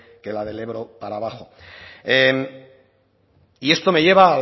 que la del ebro para abajo y esto me lleva